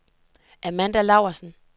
Amanda Laursen